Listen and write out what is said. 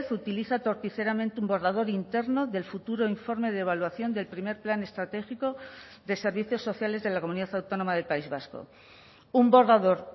utiliza torticeramente un borrador interno del futuro informe de evaluación del primer plan estratégico de servicios sociales de la comunidad autónoma del país vasco un borrador